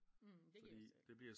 Mh det giver jo selv